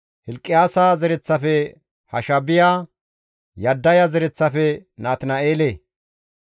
Kilqiyaasa zereththafe Hashaabiya, Yaddaya zereththafe Natina7eele,